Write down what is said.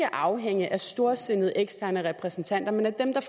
afhænge af storsindede eksterne repræsentanter men af dem der